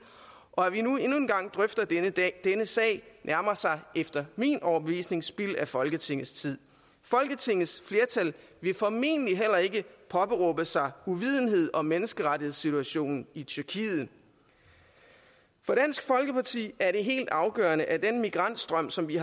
og at vi nu endnu en gang drøfter denne sag nærmer sig efter min overbevisning spild af folketingets tid folketingets flertal vil formentlig heller ikke påberåbe sig uvidenhed om menneskerettighedssituationen i tyrkiet for dansk folkeparti er det helt afgørende at den migrantstrøm som vi